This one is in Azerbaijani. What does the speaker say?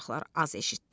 uşaqlar az eşitdi.